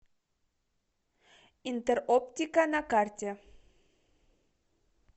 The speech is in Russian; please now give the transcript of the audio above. интероптика на карте